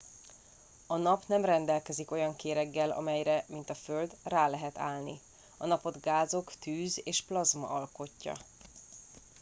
a nap nem rendelkezik olyan kéreggel amelyre mint a földön rá lehet állni a napot gázok tűz és plazma alkotja